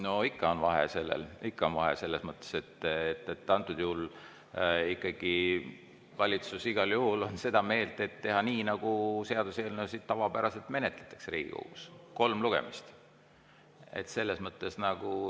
No ikka on vahe, ikka on vahe selles mõttes, et antud juhul valitsus igal juhul on seda meelt, et teha nii, nagu seaduseelnõusid tavapäraselt menetletakse Riigikogus, et on kolm lugemist.